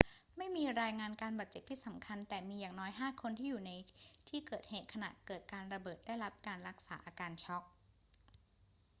ไม่มีรายงานการบาดเจ็บที่สำคัญ แต่มีอย่างน้อยห้าคนที่อยู่ในที่เกิดเหตุขณะเกิดการระเบิดได้รับการรักษาอาการช็อก